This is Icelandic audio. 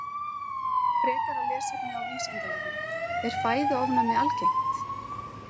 Frekara lesefni á Vísindavefnum: Er fæðuofnæmi algengt?